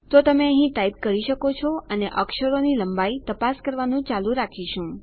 તો તમે અહીં ટાઈપ કરી શકો છો અને અક્ષરોની લંબાઈ તપાસ કરવાનું ચાલુ રાખીશું